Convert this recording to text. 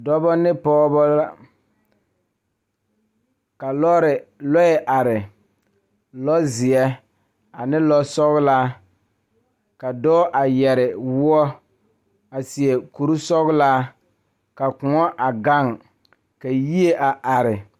Dɔɔba ne Pɔgeba kaa lɔre are nyoŋ dɔɔ nu ka katawiɛ Kyaara ka dɔɔ a su dagakparo ka pɔge a gyere wagye a le kodo kaa dɔɔba a gyere wagyere ka yie a are.